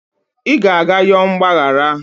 ị ga-aga yọọ mgbaghara